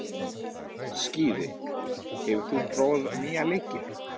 Skíði, hefur þú prófað nýja leikinn?